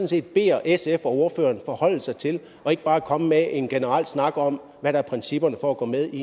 set beder sf og ordføreren om at forholde sig til og ikke bare komme med en generel snak om hvad der er principperne for at gå med i